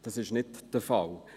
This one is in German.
Dies ist nicht der Fall.